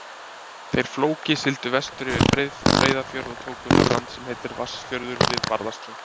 Þeir Flóki sigldu vestur yfir Breiðafjörð og tóku þar land sem heitir Vatnsfjörður við Barðaströnd.